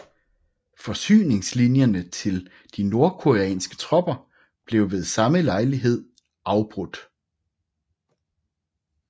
Forsyningslinjerne til de nordkoreanske tropper blev ved samme lejlighed afbrudt